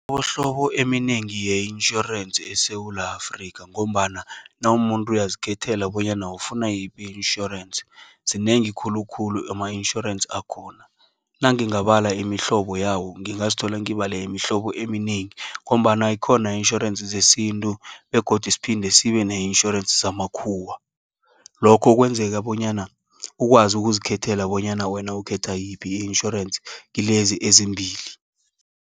Buhlobo eminengi yentjhorensi eSewula Afrika, ngombana nawumuntu uyazikhethela bonyana ufuna yiphi itjhorensi. Zinengi khulukhulu ama-itjhorensi akhona. Nangingabala imihlobo yawo, ngingazithola ngibale imihlobo eminengi. Ngombana ikhona itjhorensi zesintu , begodu siphinde sibe ne-itjhorensi zamakhuwa . Lokho kwenzeka bonyana, ukwazi ukuzikhethela bonyana wena ukhetha yiphi itjhorensi kilezi ezimbili.